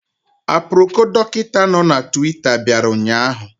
Aproko Dọkịta nọ na Twita bịara ụnyaahụ